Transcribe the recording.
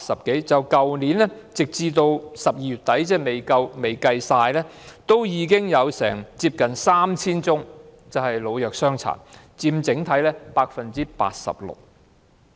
截至去年12月底，即使未計算全年的數字，已經有接近 3,000 宗涉及老、弱、傷殘的綜援申領人，佔整體數字的 86%。